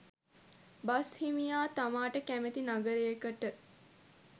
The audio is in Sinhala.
බස් හිමියා තමාට කැමති නගරයකට